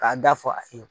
K'a da fɔ a ye